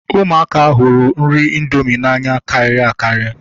Ụmụaka hụrụ nri indomi n'anya karịrị akarị